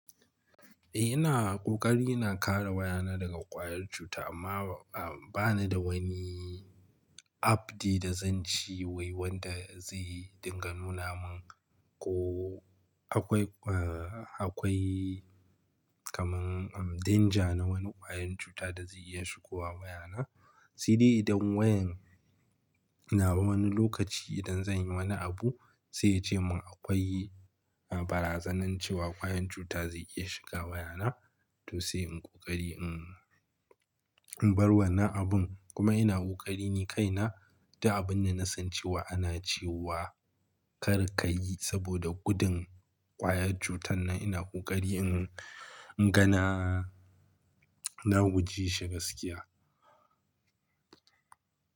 Eh ina ƙoƙari ina kare wayana daga ƙwayar cuta amma ba ni da wani app ɗia da zan ci wai wanda zai dinga nuna min ko akwai, akwai kaman danger na wani ƙwayar cuta da zai iya shigowa wayana. Sai dai idan wayan nawa wani lokaci idan zan yi wani abu sai ya ce mun akwai barazanar cewa ƙwayar cuta zai iya shiga wayana to sai in ƙoƙari in bar wannan abun. Kuma ina ƙoƙari ni kaina duk abun da na san cewa ana cewa kar ka yi saboda gudun ƙwayar cutan nan ina ƙoƙari in, in gana na guje shi gaskiya.